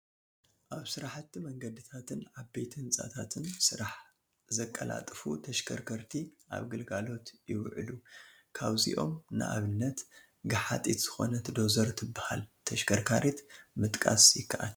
ኣብ ስራሕቲ መንገድታትን ዓበይቲ ህንፃታትን ስራሕ ዘቀላጥፉ ተሽከርከርቲ ኣብ ግልጋሎት ይዕሉ፡፡ ካብዚኦም ንኣብነት ገሓጢት ዝኾነ ዶዘር ትበሃል ተሽከርካሪት ምጥቃስ ይከኣል፡፡